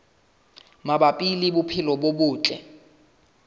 mabapi le bophelo bo botle